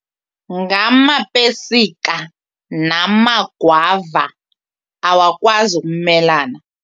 Ngamapesika namagwava awakwazi ukumelana.